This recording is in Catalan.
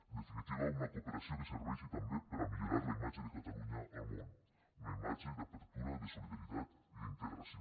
en definitiva una cooperació que serveixi també per a millorar la imatge de catalunya al món una imatge d’obertura de solidaritat i d’integració